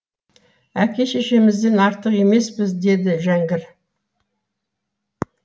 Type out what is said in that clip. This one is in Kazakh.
әке шешемізден артық емеспіз деді жәңгір